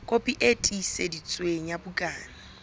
kopi e tiiseditsweng ya bukana